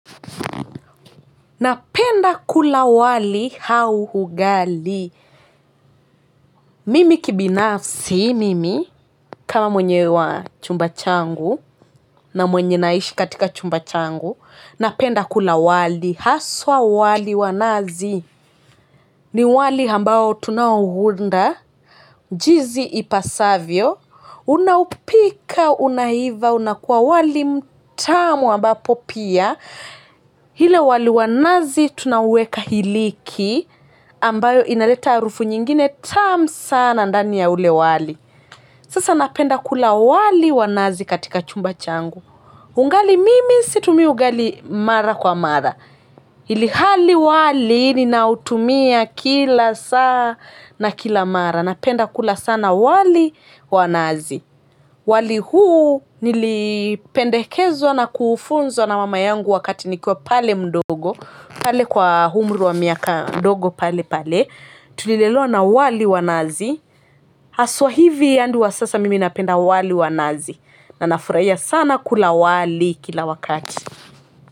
Napenda kula wali au ugali mimi kibinafsi mimi kama mwenye wa chumba changu na mwenye naishi katika chumba changu napenda kula wali haswa wali wa nazi. Ni wali ambao tunaouunda jinsi ipasavyo unaupika unaiva unakuwa wali mtamu ambapo pia ila wali wa nazi tunauweka iliki ambayo inaleta harufu nyingine tamu sana ndani ya ule wali sasa napenda kula wali wa nazi katika chumba changu ugali mimi situmii ugali mara kwa mara ilhali wali ninautumia kila saa na kila mara napenda kula sana wali wa nazi wali huu nilipendekezwa na kufunzwa na mama yangu wakati nikuwa pale mdogo pale kwa umri wa miaka ndogo pale pale, tulilelewa na wali wa nazi. Haswa hivi adi wa sasa mimi napenda wali wa nazi na nafurahia sana kula wali kila wakati.